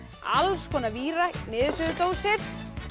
alls konar víra niðursuðudósir